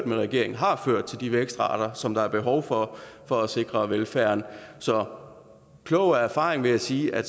med regeringen har ført til de vækstrater som der er behov for for at sikre velfærden så klog af erfaring vil jeg sige at